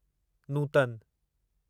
Nutan